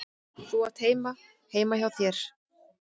Þú átt heima heima hjá þér!